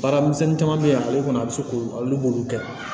Baara misɛnnin caman bɛ yen ale kɔni a bɛ se k'olu kɛ